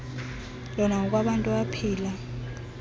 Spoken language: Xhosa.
lona ngokwabantu abaphila